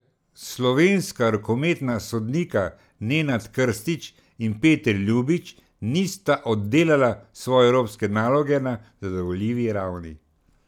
Slovenska rokometna sodnika Nenad Krstić in Peter Ljubić nista oddelala svoje evropske naloge na zadovoljivi ravni.